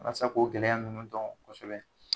Walasa k'o gɛlɛya ninnu dɔn kosɛbɛ